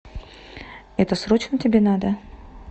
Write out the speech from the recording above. это срочно тебе надо